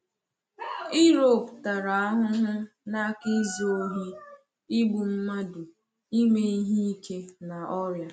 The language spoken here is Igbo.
Europe tara ahụhụ n’aka izu ohi, igbu mmadụ, ime ihe ike na ọrịa.